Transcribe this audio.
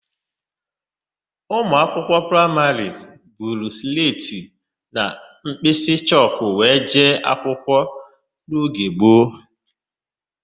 Ụmụakwụkwọ praịmarị buru sletị na mkpịsịchọkụ were jee akwụkwọ n'oge gboo.